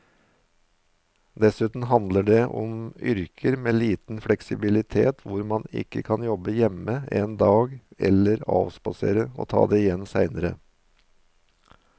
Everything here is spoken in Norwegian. Dessuten handler det om yrker med liten fleksibilitet hvor man ikke kan jobbe hjemme en dag eller avspasere og ta det igjen senere.